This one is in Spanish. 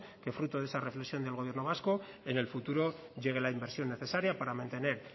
que fruto de esa reflexión del gobierno vasco en el futuro llegue la inversión necesaria para mantener